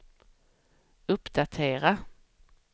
uppdatera